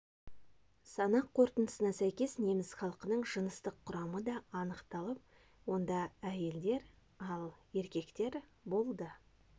санақ қорытындысына сәйкес неміс халқының жыныстық құрамы да анықталып онда әйелдер ал еркектер болды